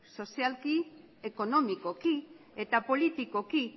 sozialki ekonomikoki eta politikoki